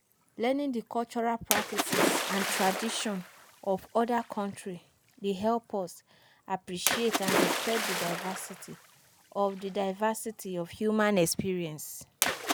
Learning di cultural practices and traditions of oda countries dey help us appreciate and respect di diversity of di diversity of human experience.